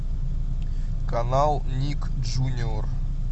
канал ник джуниор